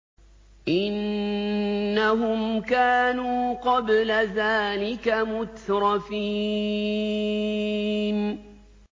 إِنَّهُمْ كَانُوا قَبْلَ ذَٰلِكَ مُتْرَفِينَ